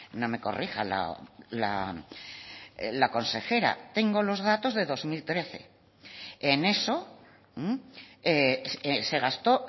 no me corrija la consejera tengo los datos de dos mil trece en eso se gastó